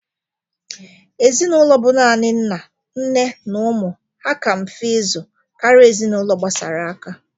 Ezinaụlọ bụ nani nna, nne na umụ ha ka mfe ịzụ kara ezinaụlọ gbasara aka.